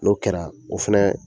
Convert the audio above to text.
O kɛra o fɛnɛ